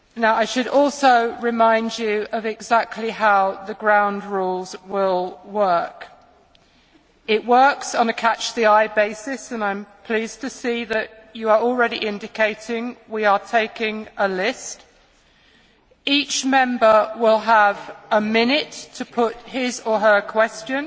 I should also remind you exactly how the ground rules will work. It works on a catch the eye basis. I am pleased to see that you are already indicating we are taking a list. Each Member will have a minute to put his or her